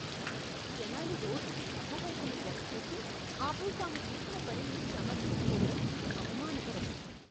జనాలు రోడ్డుకి తప్పు వైపున డ్రైవ్ చేసి, ఆపై తాము చేసిన పనిని సమర్థించుకోవడం అవమానకరం.